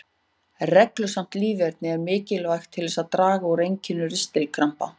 Reglusamt líferni er mikilvægt til að draga úr einkennum ristilkrampa.